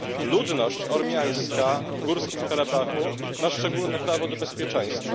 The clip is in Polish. Ludność ormiańska w Górskim Karabachu na szczególne prawo do bezpieczeństwa.